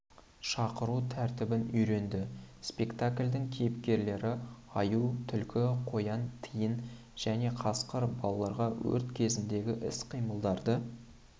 шақыру тәртібін үйренді спектакльдің кейіпкерлері аю түлкі қоян тиін және қасқыр балаларға өрт кезіндегі іс-қимылдарды